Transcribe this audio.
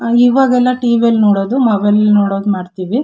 ಇವಾಗೆಲ್ಲಾ ಟಿ.ವಿಲ್ಲಿ ನೋಡೋದು ಮೊಬೈಲ್ ನಲ್ಲಿ ನೋಡೋದು ಮಾಡತ್ತಿವಿ.